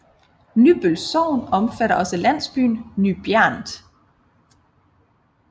Nybøl Sogn omfatter også landsbyen Ny Bjernt